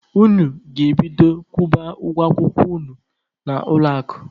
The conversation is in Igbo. Unu ga-ebido kwụba ụgwọ akwụkwọ unu na ụlọ akụ!.